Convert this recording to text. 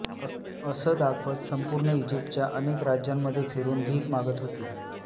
असं दाखवत संपूर्ण इजिप्तच्या अनेक राज्यांमध्ये फिरून भीक मागत होती